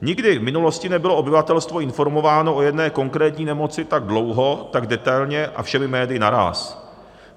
Nikdy v minulosti nebylo obyvatelstvo informováno o jedné konkrétní nemoci tak dlouho, tak detailně a všemi médii naráz.